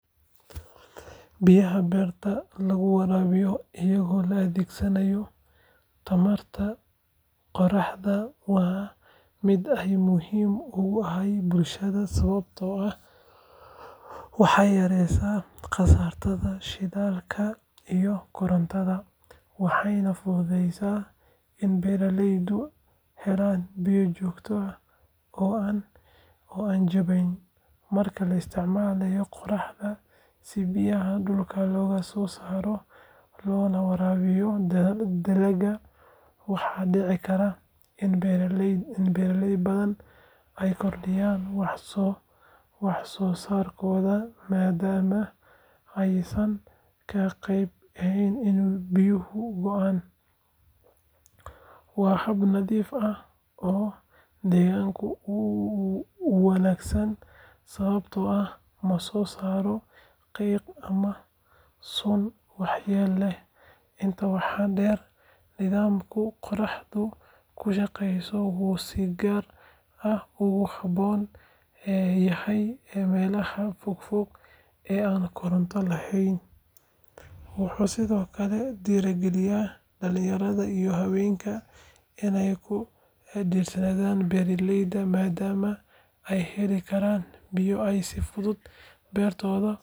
iyaha beerta lagu waraabiyo iyadoo la adeegsanayo tamarta qoraxda waa mid aad muhiim ugu ah bulshada sababtoo ah waxay yareyneysaa kharashka shidaalka iyo korontada, waxayna fududeyneysaa in beeraleydu helaan biyo joogto ah oo aan jabanayn. Marka la isticmaalo qoraxda si biyaha dhulka looga soo saaro loona waraabiyo dalagga, waxaa dhici karta in beeraley badan ay kordhiyaan wax soo saarkooda maadaama aysan ka baqayn in biyuhu go’aan. Waa hab nadiif ah oo deegaanka u wanaagsan sababtoo ah ma soo saaro qiiq ama sun waxyeello leh. Intaa waxaa dheer, nidaamka qoraxda ku shaqeeya wuxuu si gaar ah ugu habboon yahay meelaha fog fog ee aan koronto lahayn. Wuxuu sidoo kale dhiirrigeliyaa dhalinyarada iyo haweenka inay ku dhiiradaan beeraleynimo maadaama ay heli karaan biyo ay si fudud beertooda.